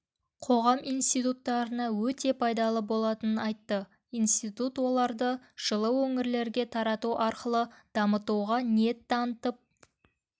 қоғам институттарына өте пайдалы болатынын айтты институт оларды жылы өңірлерге тарату арқылы дамытуға ниет танытып